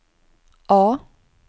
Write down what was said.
A